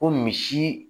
Ko misi